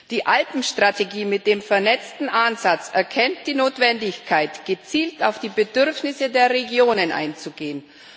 Die Alpenstrategie mit dem vernetzten Ansatz erkennt die Notwendigkeit, gezielt auf die Bedürfnisse der Regionen einzugehen.